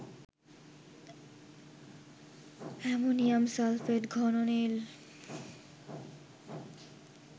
ammonium sulphate ঘন নীল